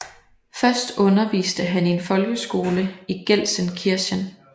Først underviste han i en folkeskole i Gelsenkirchen